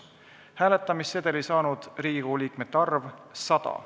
Hääletamissedeli saanud Riigikogu liikmete arv – 100.